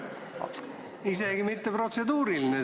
Sel korral isegi ei ole protseduuriline.